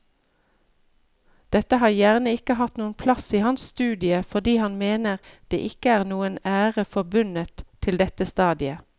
Dette har gjerne ikke hatt noen plass i hans studie fordi han mener det ikke er noen ære forbundet til dette stadiet.